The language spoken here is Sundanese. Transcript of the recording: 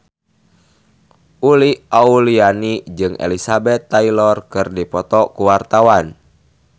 Uli Auliani jeung Elizabeth Taylor keur dipoto ku wartawan